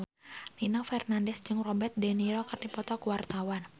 Nino Fernandez jeung Robert de Niro keur dipoto ku wartawan